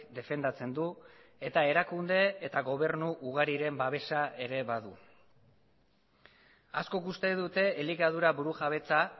defendatzen du eta erakunde eta gobernu ugariren babesa ere badu askok uste dute elikadura burujabetza